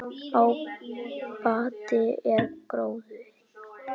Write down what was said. Ábati er gróði.